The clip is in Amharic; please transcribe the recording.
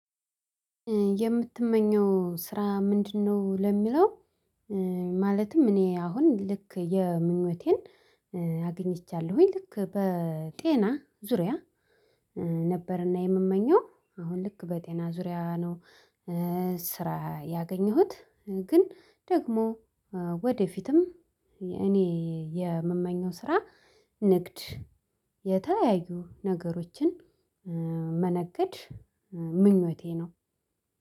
የምትመኘው ስራ ምንድነው? ለሚለው ኧ ማለትም እኔ አሁን ልክ የምኞቴን ኧ አግኝቻለሁኝ ልክ በጤና ዙሪያ ነበርና የምመኘው አሁን ልክ በጤና ዙሪያ ነው። ስራ ያገኘሁት ግን ደግሞ ወደፊትም እኔ የምመኘው ስራ ንግድ የተለያዩ ነገሮችን ኧ መነገድ ኧ ምኞቴ ነው።